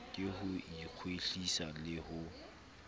ke ho ikwetlisa le ho